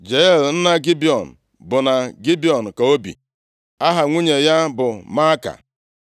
Jeiel nna Gibiọn bụ na Gibiọn ka o bi, Aha nwunye ya bụ Maaka.